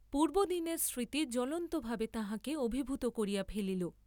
পূর্ব্বদিনের স্মৃতি জ্বলন্তভাবে তাঁহাকে অভিভূত করিয়া ফেলিল।